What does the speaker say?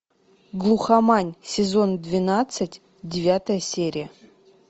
глухомань сезон двенадцать девятая серия